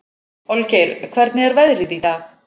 Olgeir, hvernig er veðrið í dag?